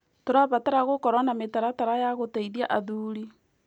Tũrabatara gũkorwo na mĩtaratara ya gũteithia athuri.